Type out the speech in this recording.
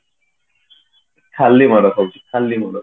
ଖାଲି ମାଡ ଖାଉଛି ଖାଲି ମାଡ